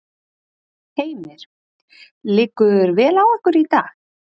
Heimir: Liggur vel á ykkur í dag?